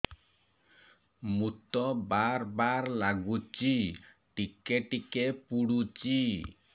ମୁତ ବାର୍ ବାର୍ ଲାଗୁଚି ଟିକେ ଟିକେ ପୁଡୁଚି